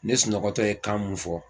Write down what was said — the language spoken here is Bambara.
Ne sunɔgɔtɔ ye kan mun fɔ